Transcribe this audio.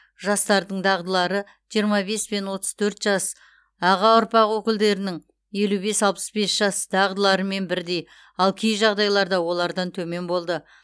жастардың дағдылары жиырма бес пен отыз төрт жас аға ұрпақ өкілдерінің елу бес пен алпыс бес жас дағдыларымен бірдей ал кей жағдайларда олардан төмен болды